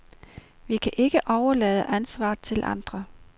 Vi kan ikke overlade ansvaret til andre.